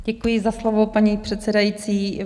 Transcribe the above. Děkuji za slovo, paní předsedající.